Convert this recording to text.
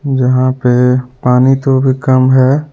जहां पे पानी तो भी कम है.